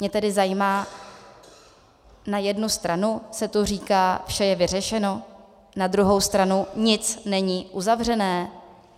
Mě tedy zajímá - na jednu stranu se tu říká, vše je vyřešeno, na druhou stranu, nic není uzavřené.